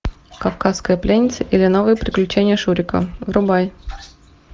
кавказская пленница или новые приключения шурика врубай